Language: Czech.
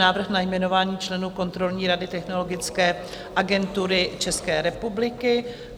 Návrh na jmenování členů kontrolní rady Technologické agentury České republiky